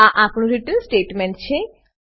આ આપણું return return statement છે